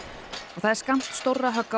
það er skammt stórra högga á